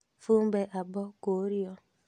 Fumbe Abbo kũũrio.